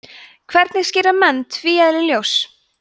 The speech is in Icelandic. hvernig skýra menn tvíeðli ljóss